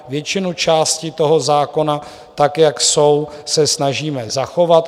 Většinu částí toho zákona tak, jak jsou, se snažíme zachovat.